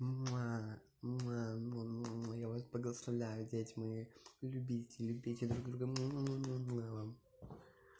мм я вас благословляю дети мои любите любите друг друга